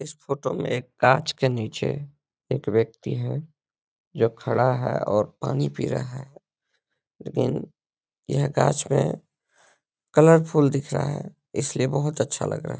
इस फोटो में एक गाछ के नीचे एक व्यक्ति हैं जो खड़ा है और पानी पी रहा है लेकिन यह गाछ मे कलरफुल दिख रहा है इसलिए बहोत अच्छा लग रहा है।